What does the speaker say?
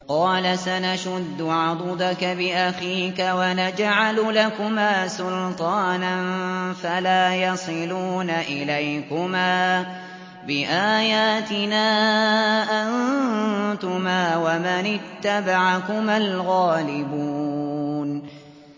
قَالَ سَنَشُدُّ عَضُدَكَ بِأَخِيكَ وَنَجْعَلُ لَكُمَا سُلْطَانًا فَلَا يَصِلُونَ إِلَيْكُمَا ۚ بِآيَاتِنَا أَنتُمَا وَمَنِ اتَّبَعَكُمَا الْغَالِبُونَ